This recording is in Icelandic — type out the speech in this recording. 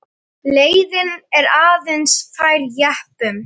Leiðin er aðeins fær jeppum.